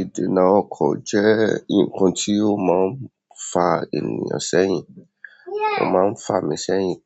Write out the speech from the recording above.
Ìdínà ọkọ̀ jẹ́ ǹkan tí o má fa ènìyàn sẹ́yìn ó má fa mi sẹ́yìn